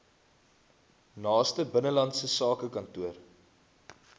naaste binnelandse sakekantoor